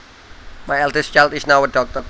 My eldest child is now a doctor